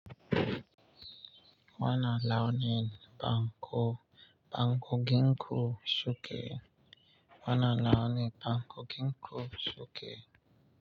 Wannan nawune, a konginku shike wanna launi banku ginku shuke.